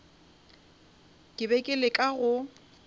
ke bego ke leka go